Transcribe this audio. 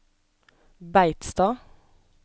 Beitstad